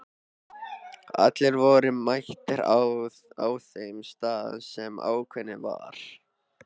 Allir voru mættir á þeim stað sem ákveðið var.